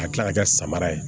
A kila la ka kɛ samara ye